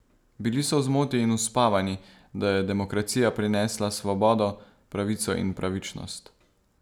Bili so v zmoti in uspavani, da je demokracija prinesla svobodo, pravico in pravičnost.